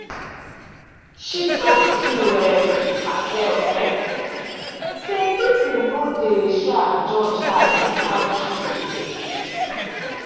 she talk to um herself um say people no dey um judge her like how she dey fear.